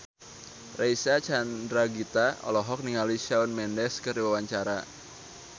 Reysa Chandragitta olohok ningali Shawn Mendes keur diwawancara